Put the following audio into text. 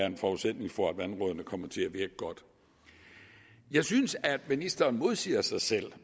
en forudsætning for at vandrådene kommer til at virke godt jeg synes at ministeren modsiger sig selv